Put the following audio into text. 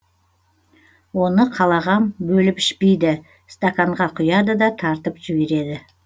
оны қалағам бөліп ішпейді стаканға құяды да та тартып жібереді